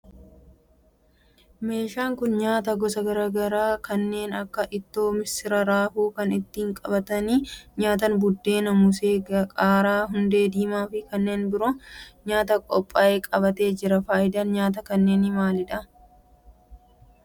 Meeshaan kun nyaata gosa garaa garaa kanneen akka ittoo missiraa, raafuu, kan ittiin qabatanii nyaatan buddeen, moosee, qaaraa, hundee diimaa fi kanneen biroo nyaataf qophaa'ee qabatee jira. Faayidaan nyaata kanneenii maalidha?